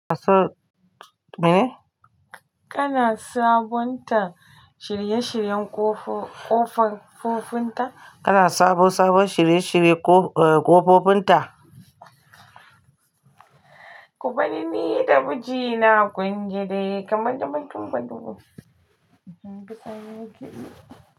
Kana sabunta shirye-shiryen ƙof- ƙofan ƙofinta? Kana sabo sabon shirye-shirye ƙof- eh ƙofofinta? Ku banni ni da miji na kunji dai kamar damben dumbu dumbu.